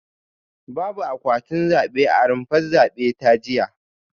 Babu akwatin zabe a rumfar zabe ta jiya